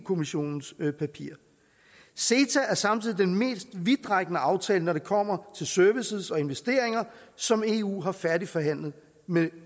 kommissionens papirer ceta er samtidig den mest vidtrækkende aftale når det kommer til services og investeringer som eu har færdigforhandlet med